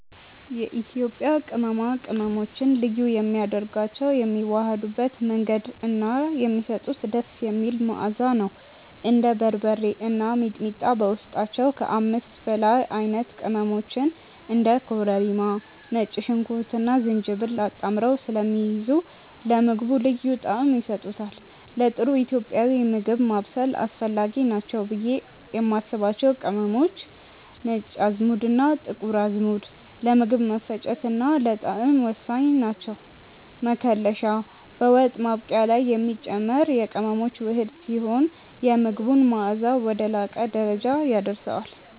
የኢትዮጵያ ቅመማ ቅመሞችን ልዩ የሚያደርጋቸው የሚዋሃዱበት መንገድ እና የሚሰጡት ደስ የሚል መዓዛ ነው። እንደ በርበሬ እና ሚጥሚጣ በውስጣቸው ከ5 በላይ አይነት ቅመሞችን (እንደ ኮረሪማ፣ ነጭ ሽንኩርትና ዝንጅብል) አጣምረው ስለሚይዙ ለምግቡ ልዩ ጣዕም ይሰጡታል። ለጥሩ ኢትዮጵያዊ ምግብ ማብሰል አስፈላጊ ናቸው ብዬ የማስባቸው ቅመሞች፦ ነጭ አዝሙድና ጥቁር አዝሙድ፦ ለምግብ መፈጨትና ለጣዕም ወሳኝ ናቸው። መከለሻ፦ በወጥ ማብቂያ ላይ የሚጨመር የቅመሞች ውህድ ሲሆን፣ የምግቡን መዓዛ ወደ ላቀ ደረጃ ያደርሰዋል።